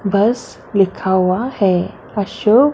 बस लिखा हुआ है अशोक--